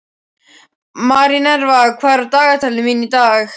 Minerva, hvað er á dagatalinu mínu í dag?